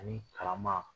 Ani karama